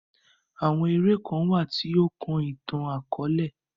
Àwọn èrè kan wa ti o kàn itan-akọọlẹ.